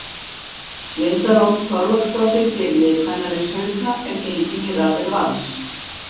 Linda Rós Þorláksdóttir fyrirliði kvennaliðs Hauka er gengin í raðir Vals.